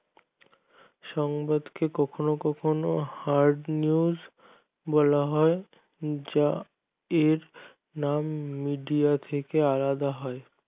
সংবাদ কে কখনো কখনো hardnews বলা হয় যা এর মান media থেকে আলাদা হয়